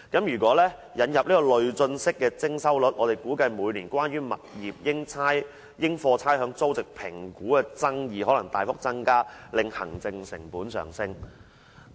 如引入累進式徵收率，他估計每年關於物業應課差餉租值評估的爭議可能大幅增加，令行政成本上升。